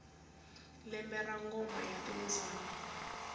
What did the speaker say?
lembe ra ngoma ya timbyana